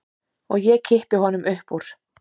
Og ég kippi honum upp úr.